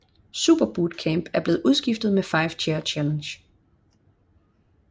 Superbootcamp er blevet udskiftet med 5 Chair Challenge